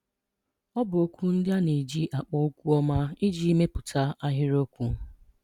Ọ bụ okwu ndị a na-eji akpọ okwu ọma iji mepụta ahịrịokwu.